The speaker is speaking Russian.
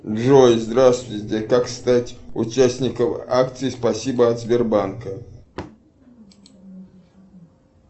джой здравствуйте как стать участником акции спасибо от сбербанка